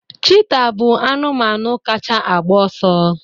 cheetah bụ anụmanụ kacha a gba ọsọ